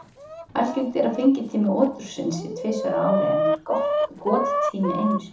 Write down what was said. Algengt er að fengitími otursins sé tvisvar á ári en gottími einu sinni.